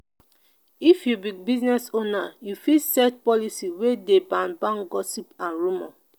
if you be business owner you fit set policy wey dey ban ban gossip and rumour